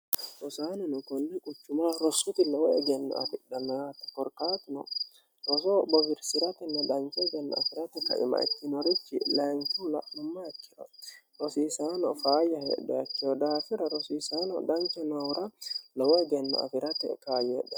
rusaaninu konni quchumaa rossoti lowo egenno afidhannayaatte korkaatino rosoo bowirsi'ratinna dhancho egenno afi'rate kaima ittinoruchi layincula nummac rosiisaano faayya hedheekkeyo daafira rosiisaano dhanche noura lowo egenno afi'rate kaayyeedhe